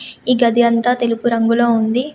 ఈ గది అంతా తెలుపు రంగులో ఉంది.